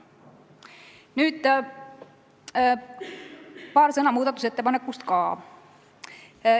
Nüüd paar sõna muudatusettepanekust ka.